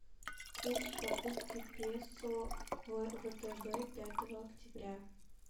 курс покупки песо в втб пятого октября